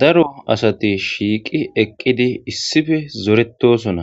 Daro asati shiiqi eqqidi issife zoretosona